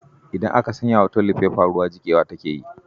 idan aka sanya wa tolifefa ruwa jikewa take yi.